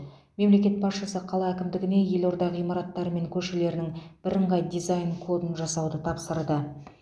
мемлекет басшысы қала әкімдігіне елорда ғимараттары мен көшелерінің бірыңғай дизайн кодын жасауды тапсырды